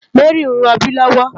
Mary n ròbí lòwò